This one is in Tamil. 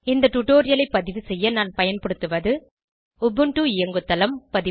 இந்த டுடோரியலை பதிவு செய்ய நான் பயன்படுத்துவது உபுண்டு இயங்குதளம் பதிப்பு